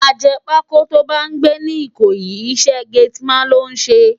Àjèpákó tó bá n gbé ni Ikoyi, isè gétìmán ló n sé